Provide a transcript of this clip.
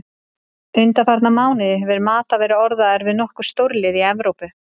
Undanfarna mánuði hefur Mata verið orðaður við nokkur stórlið í Evrópu.